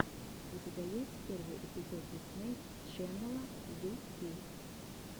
у тебя есть первый эпизод дисней ченнела ю кей